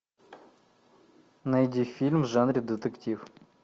найди фильм в жанре детектив